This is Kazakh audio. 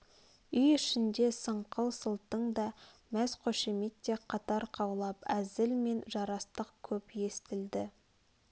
үй ішінде сыңқыл-сылтың да мәз қошемет те қатар қаулап әзіл мен жарастық көп естілді